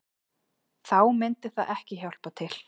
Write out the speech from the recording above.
Þá myndi það ekki hjálpa til